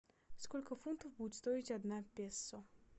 сколько фунтов будет стоить одна песо